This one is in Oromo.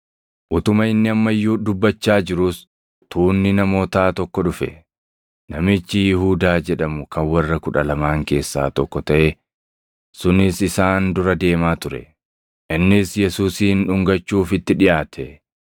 Utuma inni amma iyyuu dubbachaa jiruus, tuunni namootaa tokko dhufe; namichi Yihuudaa jedhamu kan warra Kudha Lamaan keessaa tokko taʼe sunis isaan dura deemaa ture. Innis Yesuusin dhungachuuf itti dhiʼaate;